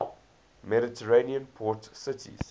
mediterranean port cities